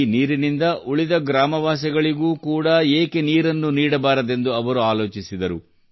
ಈ ನೀರಿನಿಂದ ಉಳಿದ ಗ್ರಾಮವಾಸಿಗಳಿಗೂ ಕೂಡಾ ಏಕೆ ನೀಡಬಾರದೆಂದು ಅವರು ಯೋಚಿಸಿದರು